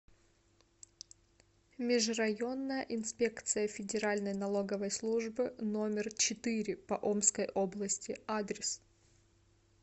межрайонная инспекция федеральной налоговой службы номер четыре по омской области адрес